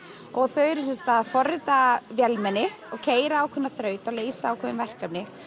þau eru sem sagt að forrita vélmenni og keyra ákveðna þrautabraut og leysa ákveðin verkefni